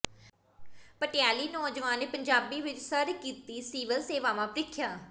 ਪਟਿਆਲਵੀ ਨੌਜਵਾਨ ਨੇ ਪੰਜਾਬੀ ਵਿੱਚ ਸਰ ਕੀਤੀ ਸਿਵਿਲ ਸੇਵਾਵਾਂ ਪ੍ਰੀਖਿਆ